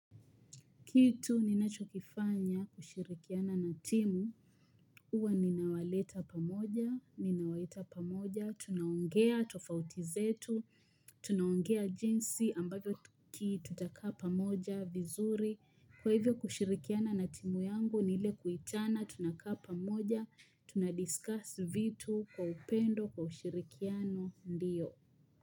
Kitu ninachokifanya kushirikiana na timu, huwa ninawaleta pamoja, ninawaita pamoja, tunaongea tofautizetu, tunaongea jinsi ambavyo kitu takaa pamoja vizuri, kwa hivyo kushirikiana na timu yangu ni ile kuitana tunakaa pamoja, tuna discuss vitu kwa upendo kwa ushirikiano ndiyo.